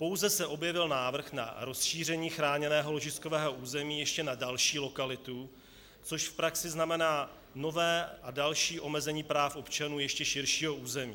Pouze se objevil návrh na rozšíření chráněného ložiskového území ještě na další lokalitu, což v praxi znamená nové a další omezení práv občanů ještě širšího území.